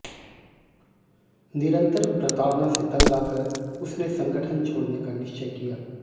निरन्तर प्रताड़ना से तंग आकर उसने संगठन छोड़ने का निश्चय किया